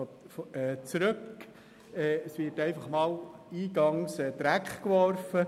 Der Bericht wird eingangs grundsätzlich einmal in den Dreck gezogen.